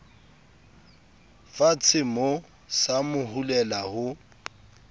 fatshemoo sa mo hulela ho